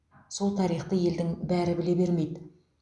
сол тарихты елдің бәрі біле бермейді